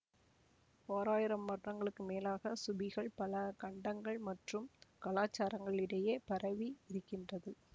ஓராயிரம் வருடங்களுக்கு மேலாக சூபிகள் பல கண்டங்கள் மற்றும் கலாச்சாரங்களிடையே பரவியிருக்கின்றது